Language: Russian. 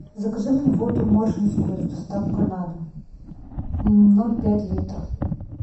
закажи мне воду моршинскую с доставкой на дом ноль пять литра